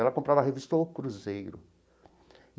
Ela comprava a revista O Cruzeiro.